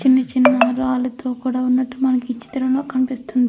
చిన్నచిన్న రాళ్లతో కూడా ఉన్నట్టు మనకి చిత్రంలో కనిపిస్తుంది.